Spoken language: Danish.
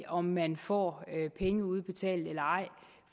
om man får penge udbetalt eller ej